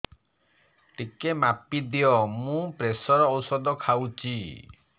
ଟିକେ ମାପିଦିଅ ମୁଁ ପ୍ରେସର ଔଷଧ ଖାଉଚି